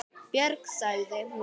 Björg, sagði hún.